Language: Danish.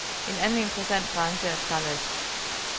En anden interessant branche er trælast.